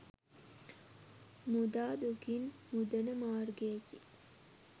මුදා දුකින් මුදන මාර්ගයකි.